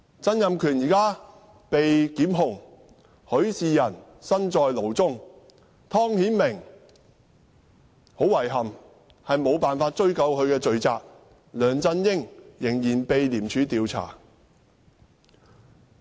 曾蔭權現時被檢控；許仕仁身在牢中；湯顯明，很遺憾，無法追究他的罪責；梁振英仍然被廉政公署調查。